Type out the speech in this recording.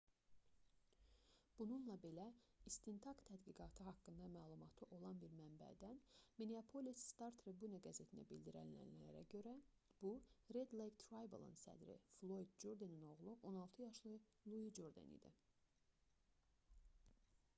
bununla belə istintaq təhqiqatı haqqında məlumatı olan bir mənbədən minneapolis star-tribune qəzetinə bildirilənlərə görə bu red lake tribal"ın sədri floyd jurdenin oğlu 16 yaşlı lui jurden idi